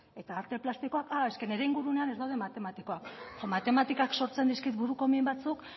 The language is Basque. eta arte plastikoak a eske nire inguruan ez daude matematikoak eske matematikak sortzen dizkit buruko min batzuk